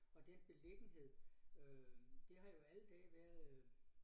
Og den beliggenhed øh det har jo alle dage været øh